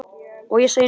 Og ég segi, nú?